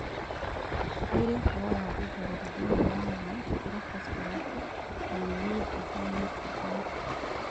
Nĩirĩ ũhoro wa gũtherera thĩinĩ wa maĩ gũkĩra phosphorus no nĩ thĩ wa naitrojeni